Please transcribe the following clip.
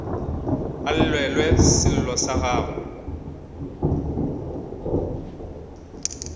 a llelwe sello sa gagwe